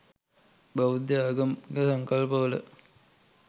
බෞද්ධ ආගමික සංකල්පවල